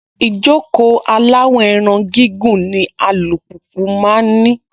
Ìjókòó aláwọ̀-ẹran gígùn ni alùpùpù máa ń ní.